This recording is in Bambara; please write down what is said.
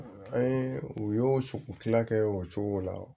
An ye u y'o u tila kɛ o cogo la